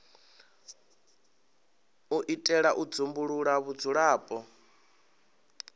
u itela u dzumbulula vhudzulapo